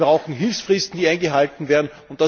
Wir brauchen Hilfsfristen, die eingehalten werden.